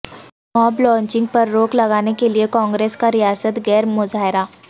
ماب lynching پر روک لگانے کیلئے کانگریس کا ریاست گیر مظاہرہ